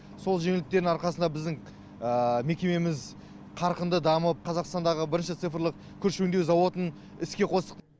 сол жеңілдіктердің арқасында біздің мекемеміз қарқынды дамып қазақстандағы бірінші цифрлы күріш өңдеу зауытын іске қостық